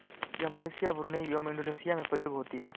यह Malaysia Brunei व Indonesia में प्रयोग होती है